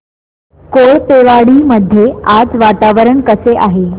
कोळपेवाडी मध्ये आज वातावरण कसे आहे